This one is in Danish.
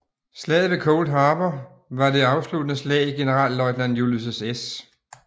Slaget ved Cold Harbor var det afsluttende slag i generalløjtnant Ulysses S